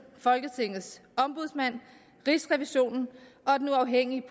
folketingets ombudsmand rigsrevisionen og den uafhængige